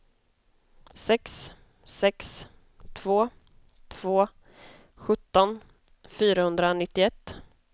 sex sex två två sjutton fyrahundranittioett